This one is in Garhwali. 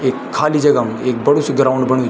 एक खाली जगा म ऐक बडु सी ग्राउंड बणयू।